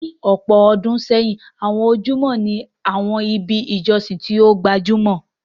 Ní ọ̀pọ̀ ọdún sẹ́yìn, àwọn ojúbọ ni àwọn ibi ìjọsìn tó gbajúmọ̀.